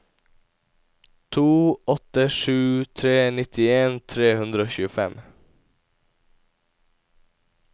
to åtte sju tre nittien tre hundre og tjuefem